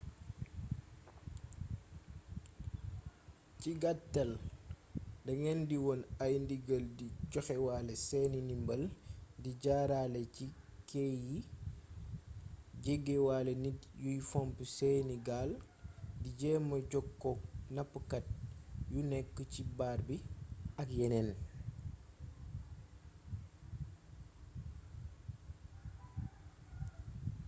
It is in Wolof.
ci gaatal da ngeen di wone ay ndigal di joxewaale seeni ndimbal di jaaraale ci ké yi jegewaale nit yuy fomp seeni gaal di jéema jokkook napkat yu nekk ci baar bi ak yeneen